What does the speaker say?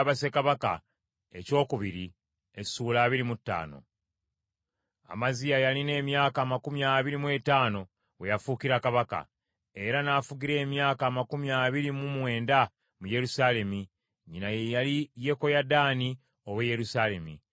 Amaziya yalina emyaka amakumi abiri mu etaano we yafuukira kabaka, era n’afugira emyaka amakumi abiri mu mwenda mu Yerusaalemi. Nnyina ye yali Yekoyadaani ow’e Yerusaalemi.